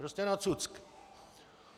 Prostě na cucky.